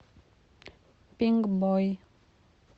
пинкбой